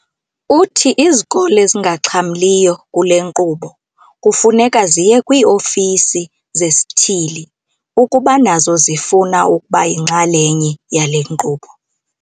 Uthi izikolo ezingaxhamliyo kule nkqubo kufuneka ziye kwii-ofisi zesithili ukuba nazo zifuna ukuba yinxalenye yale nkqubo.